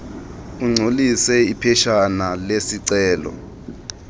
ugcwalise iphetshana lesicelo